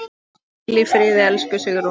Hvíl í friði, elsku Sigrún.